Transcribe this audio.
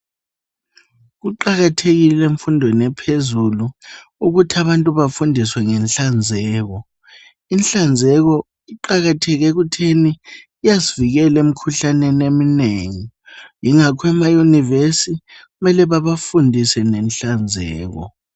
Kuqakathekile emfundweni ephezulu ukuthi abantu bafundiswe ngenhlanzeko. Inhlanzeko iqakatheke ekuthini iyasivikela emkhuhlaneni emnengi. Yingakho emaUniversi kumele bebafundise ngenhlanzeko.